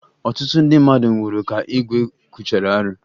Ọtụtụ ndị mmadụ nwụrụ ka igwe kwuchara arụ